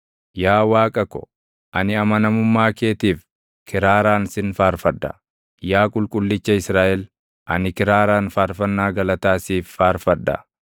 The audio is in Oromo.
Yaa Waaqa ko, ani amanamummaa keetiif, kiraaraan sin faarfadha; Yaa Qulqullicha Israaʼel ani kiraaraan faarfannaa galataa siif faarfadha.